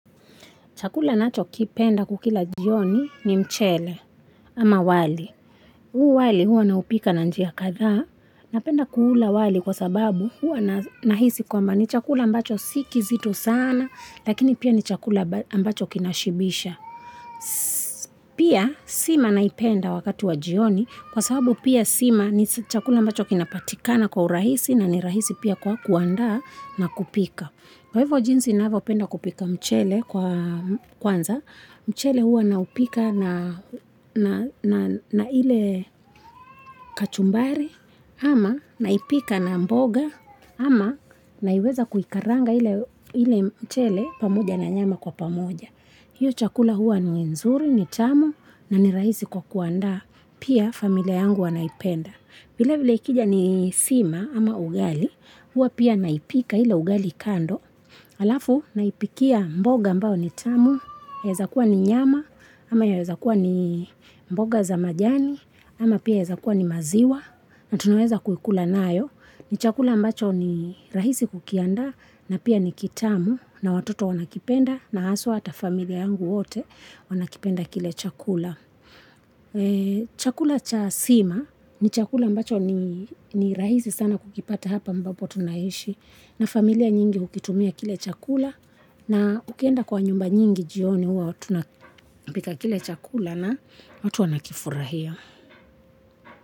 Chakula nachokipenda kukila jioni ni mchele ama wali. Huu wali huwa naupika na njia katha napenda kuhula wali kwa sababu huwa nahisi kwamba ni chakula ambacho si kizito sana lakini pia ni chakula ambacho kinashibisha. Pia sima naipenda wakati wa jioni kwa sababu pia sima ni chakula ambacho kinapatikana kwa urahisi na ni rahisi pia kwa kuandaa na kupika. Kwa hivyo jinsi navyo penda kupika mchele kwanza, mchele huwa naupika na ile kachumbari, ama naipika na mboga, ama naiweza kuikaranga ile mchele pamoja na nyama kwa pamoja. Hiyo chakula huwa ni nzuri, ni tamu, na ni rahisi kwa kuanda, pia familia yangu wanaipenda. Vile vile ikija ni sima ama ugali, hua pia naipika ile ugali kando, alafu naipikia mboga ambao ni tamu, yaeza kuwa ni nyama, ama yaeza kuwa ni mboga za majani, ama pia yaeza kuwa ni maziwa, na tunaweza kuikula nayo, ni chakula ambacho ni rahisi kukiandaa, na pia ni kitamu, na watoto wanakipenda, na haswa hata familia yangu wote wanakipenda kile chakula. Chakula cha sima ni chakula mbacho ni rahisi sana kukipata hapa ambapo tunaishi na familia nyingi hukitumia kile chakula na ukienda kwa nyumba nyingi jioni uwa tunapika kile chakula na watu wanakifurahia.